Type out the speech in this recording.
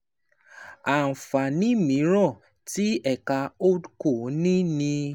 Àǹfààní mìíràn tí ẹ̀ka HoldCo ní ni